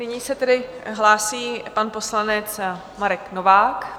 Nyní se tedy hlásí pan poslanec Marek Novák.